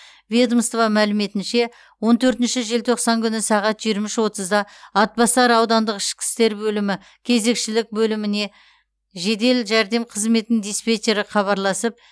ведомство мәліметінше он төртінші желтоқсан күні сағат жиырма үш отызда атбасар аудандық ішкі істер бөлімі кезекшілік бөліміне жедел жәрдем қызметінің диспетчері хабарласып